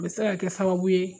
A bɛ se ka kɛ sababu ye